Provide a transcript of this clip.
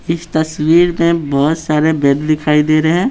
इस तस्वीर में बहुत सारे वेद दिखाई दे रहे हैं।